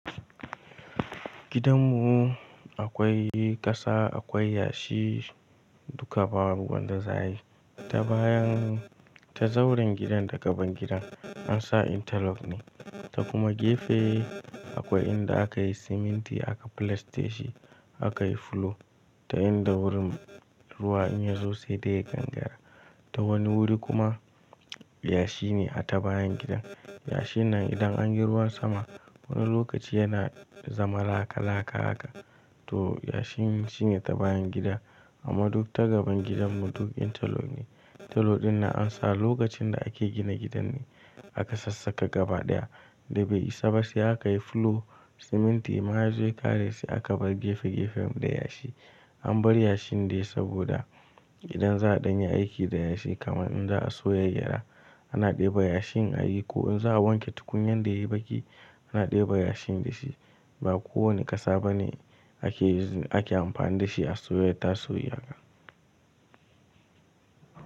Gidanmu akwai ƙasa, akwai yashi duka babu wanda za ayi. Ta bayan, ta zauren gidan da gaban gidan an sa intalok ne. Ta kuma gefe akwai inda aka yi siminti aka filaste shi, aka yi fulo ta inda wurin ruwa in ya zo sai dai ya gangara. Ta wani wuri kuma yashi ne a ta bayan gidan. Yashin nan idan an yi ruwan sama wani lokaci yana zama laka laka haka. To yashi shine ta bayan gidan amma duk ta gaban gidanmu duk intalok ne. Intalok ɗin nan an sa lokacin da ake gina gidan ne aka sassaka gaba ɗaya. Da bai isa ba sai aka yi fulo, siminti ma ya zo ya ƙare sai aka bar gefe gefen da yashi. An bar yashin dai saboda idan za a dan yi aiki da yashi kamar in za a soya gyada ana ɗeba yashin a yi ko in za a wanke tukunyan da yayi baki ana ɗeba yashin da shi. Ba kowane ƙasa bane ake amfani da shi a soya taso yi haka.